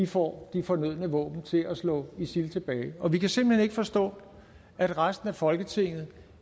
får de fornødne våben til at slå isil tilbage og vi kan simpelt hen ikke forstå at resten af folketinget